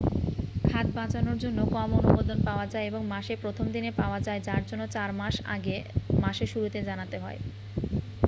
খাদ বাঁচানোর জন্য কম অনুমোদন পাওয়া যায় এবং মাসের প্রথম দিনে পাওয়া যায় যার জন্য চার মাস আগে মাসের শুরুতে জানাতে হয়